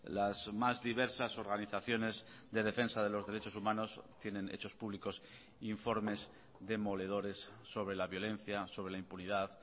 las más diversas organizaciones de defensa de los derechos humanos tienen hechos públicos informes demoledores sobre la violencia sobre la impunidad